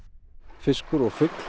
fiskur og fugl